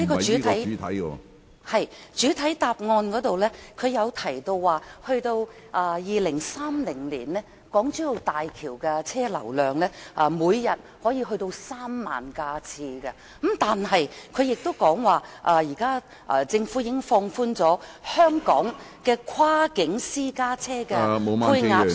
是，主體答覆提到 ，2030 年港珠澳大橋的車輛流量，每天可達到3萬架次，但是，他亦說現時政府已經放寬香港的跨境私家車的配額數目......